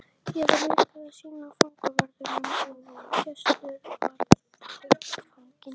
Ég var líka að sýna fangavörðunum að gæsluvarðhaldsfanginn